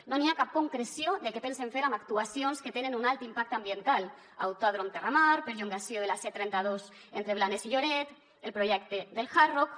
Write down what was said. no n’hi ha cap concreció de què pensen fer amb actuacions que tenen un alt impacte ambiental autòdrom terramar perllongament de la c trenta dos entre blanes i lloret el projecte del hard rock